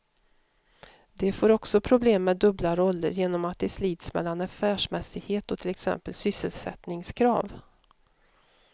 De får också problem med dubbla roller, genom att de slits mellan affärsmässighet och till exempel sysselsättningskrav.